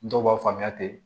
Dɔw b'a faamuya ten